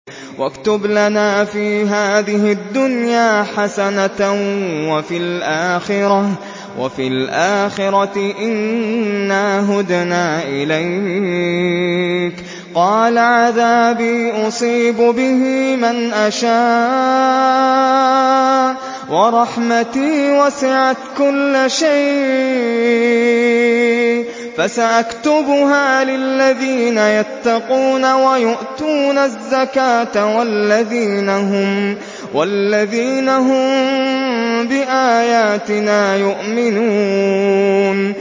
۞ وَاكْتُبْ لَنَا فِي هَٰذِهِ الدُّنْيَا حَسَنَةً وَفِي الْآخِرَةِ إِنَّا هُدْنَا إِلَيْكَ ۚ قَالَ عَذَابِي أُصِيبُ بِهِ مَنْ أَشَاءُ ۖ وَرَحْمَتِي وَسِعَتْ كُلَّ شَيْءٍ ۚ فَسَأَكْتُبُهَا لِلَّذِينَ يَتَّقُونَ وَيُؤْتُونَ الزَّكَاةَ وَالَّذِينَ هُم بِآيَاتِنَا يُؤْمِنُونَ